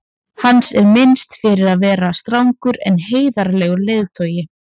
hans er minnst fyrir að vera strangur en heiðarlegur leiðtogi